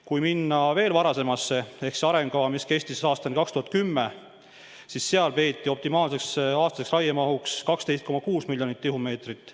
Kui minna veel varasemasse aega ja vaadata arengukava, mis kestis aastani 2010, siis seal peeti optimaalseks aastaseks raiemahuks 12,6 miljonit tihumeetrit.